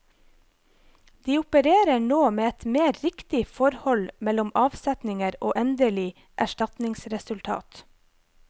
De opererer nå med et mer riktig forhold mellom avsetninger og endelig erstatningsresultat.